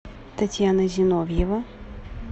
татьяна зиновьева